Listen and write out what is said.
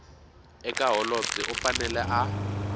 eka holobye u fanele a